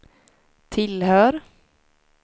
tillhör